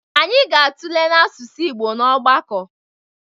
Anyị ga-atụle n'asụsụ Igbo n'ọgbakọ